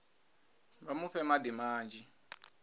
vha mu fhe madi manzhi